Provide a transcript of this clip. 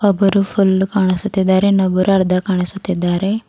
ಒಬ್ಬರು ಫುಲ್ ಕಾಣಿಸುತ್ತಿದ್ದಾರೆ ಇನ್ನೊಬ್ಬರು ಅರ್ಧ ಕಾಣಿಸುತ್ತಿದ್ದಾರೆ.